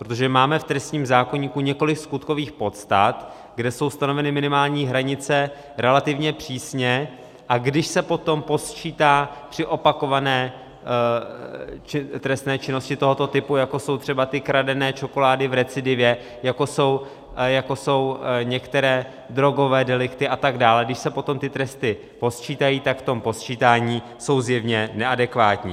Protože máme v trestním zákoníku několik skutkových podstat, kde jsou stanoveny minimální hranice relativně přísně, a když se potom posčítá při opakované trestné činnosti tohoto typu, jako jsou třeba ty kradené čokolády v recidivě, jako jsou některé drogové delikty a tak dále, když se potom ty tresty posčítají, tak v tom posčítání jsou zjevně neadekvátní.